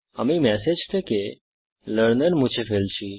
আমি ম্যাসেজ থেকে লার্নার মুছে ফেলছি